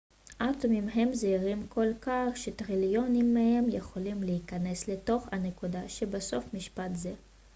אטומים הם זעירים כל כך שטריליונים מהם יכולים להיכנס לתוך הנקודה שבסוף משפט זה